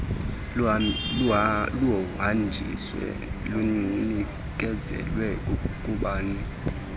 luhanjiswe lunikezelwe kubani